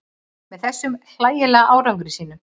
Með þessum hlægilega árangri sínum.